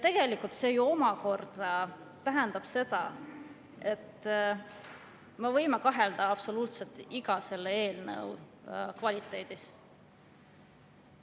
Tegelikult see ju omakorda tähendab seda, et me võime kahelda absoluutselt kõigi nende eelnõude kvaliteedis.